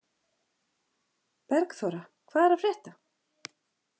Bergþóra, hvað er að frétta?